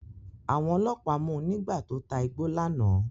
Àwọn ọlọ́pàá mu nígbà tó ta igbó lánàá.